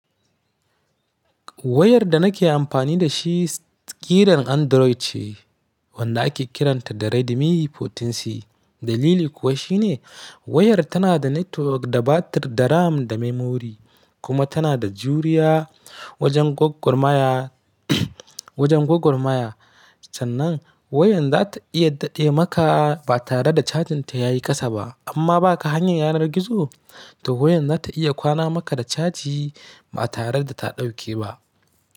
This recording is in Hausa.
Wayar da nake amfani da shi ƙiran Android ce wanda ake kiranta da Redmi 14C. Dalili kuwa shi ne wayar tana da network, da batir, da RAM, da memory kuma tana da juriya wajen gwaggwar maya, wajen gwaggwar maya. Sannan wayan za ta iya daɗe maka ba tare da cajin ta ya yi ƙasa ba. Amma ba ka hanyar yanar gizo? To wayan za ta iya kwana maka da caji ba tare da ta ɗauke ba.